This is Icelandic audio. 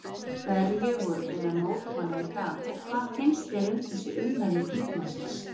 Hverju voruð þið að mótmæla í dag og hvað finnst þér um þessi ummæli þingmannsins?